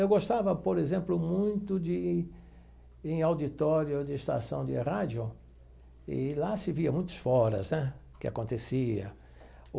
Eu gostava, por exemplo, muito de ir em auditório de estação de rádio, e lá se via muitos foras, né, o que acontecia.